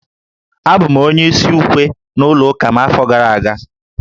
Abụ m onye isi ukwe n'ụlọ ụka m n'afọ gara aga